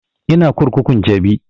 Ina kurkukun jabi